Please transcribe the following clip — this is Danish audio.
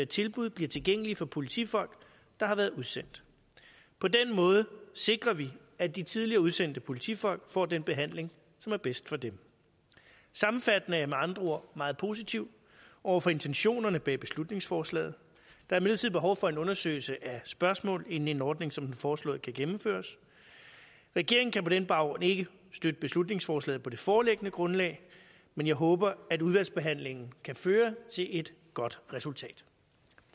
tilbud bliver tilgængelige for politifolk der har været udsendt på den måde sikrer vi at de tidligere udsendte politifolk får den behandling som er bedst for dem sammenfattende er jeg med andre ord meget positiv over for intentionerne bag beslutningsforslaget men er imidlertid behov for en undersøgelse af spørgsmål inden en ordning som den foreslåede kan gennemføres regeringen kan på den baggrund ikke støtte beslutningsforslaget på det foreliggende grundlag men jeg håber at udvalgsbehandlingen kan føre til et godt resultat